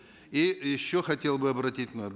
и еще хотел бы обратить